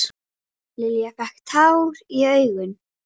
Lilla fékk tár í augun.